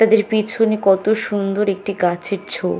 তাদের পিছনে কত সুন্দর একটি গাছের ঝোপ।